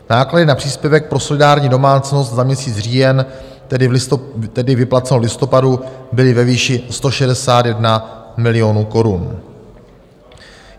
Náklady na příspěvek pro solidární domácnost za měsíc říjen, tedy vyplaceno v listopadu, byly ve výši 161 milionů korun.